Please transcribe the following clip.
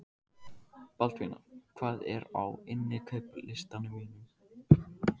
Baldvina, hvað er á innkaupalistanum mínum?